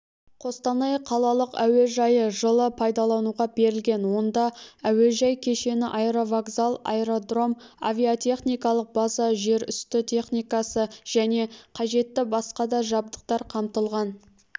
қостанай қалалық әуежайы жылы пайдалануға берілген онда әуежай кешені аэровокзал аэродром авиатехникалық база жерүсті техникасы және қажетті басқа да жабдықтар қамтылған